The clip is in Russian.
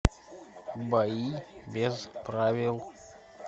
бои без правил